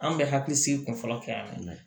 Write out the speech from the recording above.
An bɛ hakili sigi kun fɔlɔ kɛ an na